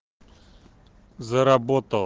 заработало